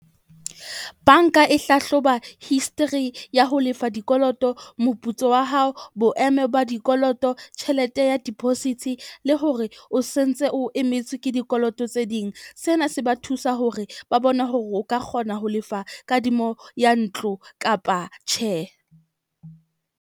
Bank-a e hlahloba history ya ho lefa dikoloto, moputso wa hao, boemo ba dikoloto, tjhelete ya deposits le hore o se sentse o emetswe ke dikoloto tse ding. Sena se ba thusa hore ba bone hore o ka kgona ho lefa kadimo ya ntlo kapa tjhe.